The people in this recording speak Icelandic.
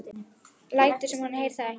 Lætur sem hún heyri það ekki.